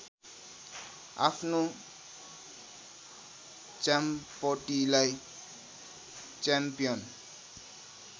आफ्नो च्याम्पटीलाई च्याम्पियन